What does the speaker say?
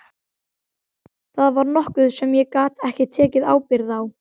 Það var nokkuð sem ég gat ekki tekið ábyrgð á.